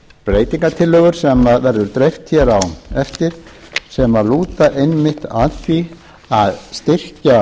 breytingartillögur sem verður dreift hér á eftir sem lúta einmitt að því að styrkja